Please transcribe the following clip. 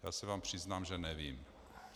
Já se vám přiznám, že nevím.